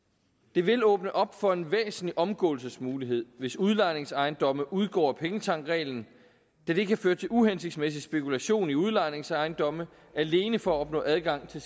det vil åbne op for en væsentlig omgåelsesmulighed hvis udlejningsejendomme udgår af pengetanksreglen da det kan føre til uhensigtsmæssig spekulation i udlejningsejendomme alene for at opnå adgang til